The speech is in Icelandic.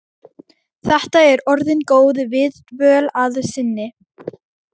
Þetta er orðin góð viðdvöl að sinni.